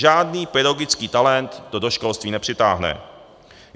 Žádný pedagogický talent to do školství nepřitáhne.